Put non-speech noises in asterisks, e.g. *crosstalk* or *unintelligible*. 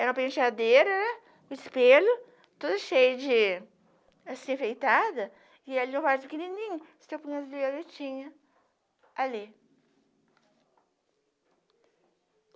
Era uma penteadeira, o espelho, todo cheio de... assim, feitada, e ali no vaso pequenininho, so *unintelligible* violetinha, ali.